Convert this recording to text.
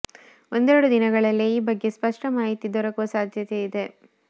ಒಂದೆರೆಡು ದಿನಗಳಲ್ಲೇ ಈ ಬಗ್ಗೆ ಸ್ಪಷ್ಟ ಮಾಹಿತಿ ದೊರಕುವ ಸಾಧ್ಯತೆ ಇದೆ